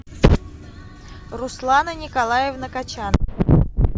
руслана николаевна качан